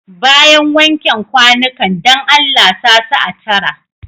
Bayan wanken kwanukan, dan Allah sa su a tara.